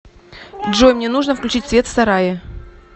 джой мне нужно включить свет в сарае